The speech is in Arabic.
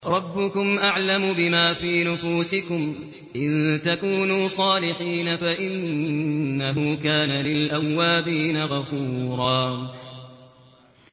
رَّبُّكُمْ أَعْلَمُ بِمَا فِي نُفُوسِكُمْ ۚ إِن تَكُونُوا صَالِحِينَ فَإِنَّهُ كَانَ لِلْأَوَّابِينَ غَفُورًا